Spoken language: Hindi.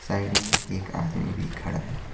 साइड में एक आदमी भी खड़ा है।